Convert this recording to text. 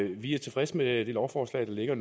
vi er tilfredse med det lovforslag der ligger